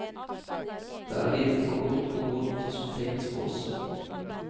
Det er livet på godt og vondt som tegnes for oss.